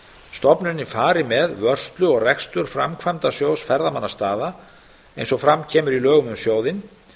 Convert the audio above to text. stofnunin fari með vörslu og rekstur framkvæmdasjóðs ferðamannastaða eins og fram kemur í lögum um sjóðinn